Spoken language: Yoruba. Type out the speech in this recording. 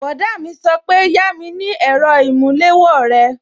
Bọ̀dá mi sọ pé yami ni èrò ìmúléwó rẹ!